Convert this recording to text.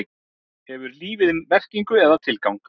Hefur lífið merkingu eða tilgang?